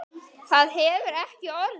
Það hefur ekki orðið.